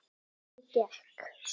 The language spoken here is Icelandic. Hvernig gekk?